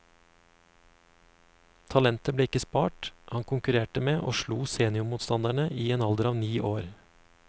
Talentet ble ikke spart, han konkurrerte med og slo seniormotstandere i en alder av ni år.